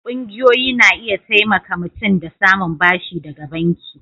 ƙungiyoyi na iya taimaka mutum da samun bashi daga banki.